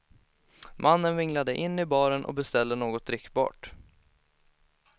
Mannen vinglade in i baren och beställde något drickbart.